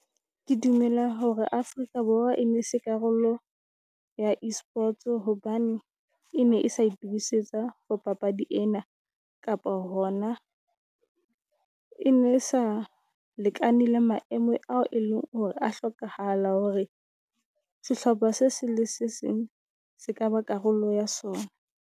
Ke dumela hore Afrika Borwa enese karolo ya E-sports hobane e ne e se itukisetsa for papadi ena. Kapa hona e ne sa lekane le maemo ao e leng hore a hlokahala hore sehlopha se seng se seng se ka ba karolo ya sona.